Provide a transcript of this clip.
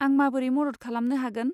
आं माबोरै मदद खालामनो हागोन?